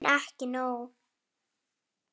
En ekki nóg.